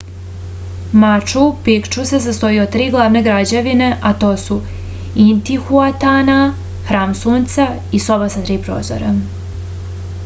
maču pikču se sastoji od tri glavne građevine a to su intihuatana hram sunca i soba sa tri prozora